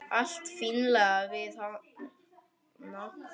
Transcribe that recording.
Allt fínlegt við hana.